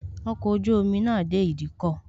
Ọkọ̀ ojú omi náà dé ìdíkọ̀